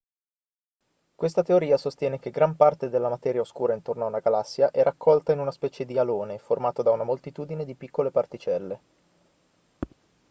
questa teoria sostiene che gran parte della materia oscura intorno a una galassia è raccolta in una specie di alone formato da una moltitudine di piccole particelle